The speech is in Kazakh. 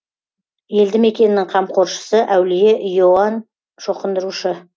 елді мекеннің қамқоршысы әулие иоанн шоқындырушы